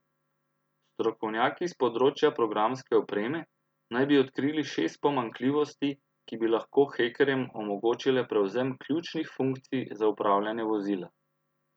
Strokovnjaki s področja programske opreme naj bi odkrili šest pomanjkljivosti, ki bi lahko hekerjem omogočile prevzem ključnih funkcij za upravljanje vozila.